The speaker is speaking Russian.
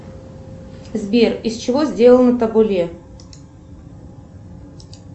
сбер из чего сделано табуле